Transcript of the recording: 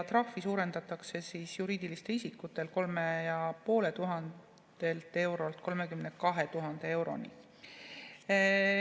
Trahvi suurendatakse juriidilistel isikutel 3500 eurolt 32 000 euroni.